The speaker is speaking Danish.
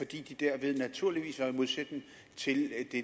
de derved naturligvis var i modsætning til det